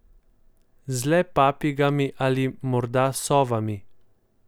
Z le papigami ali morda sovami.